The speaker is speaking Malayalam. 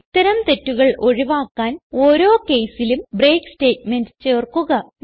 ഇത്തരം തെറ്റുകൾ ഒഴിവാക്കാൻ ഓരോ caseലും ബ്രേക്ക് സ്റ്റേറ്റ്മെന്റ് ചേർക്കുക